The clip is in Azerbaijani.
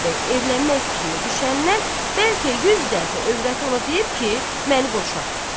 Xudayar bəy evlənmək fikrinə düşəndən bəlkə 100 dəfə övrəti ona deyib ki, məni boşa.